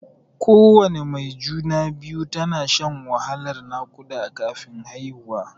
Kowana mai juna-biyu tana shan wahalan naƙuda kafin haihuwa.